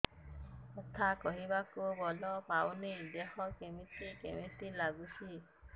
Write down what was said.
କଥା କହିବାକୁ ବଳ ପାଉନି ଦେହ କେମିତି କେମିତି ହେଇଯାଉଛି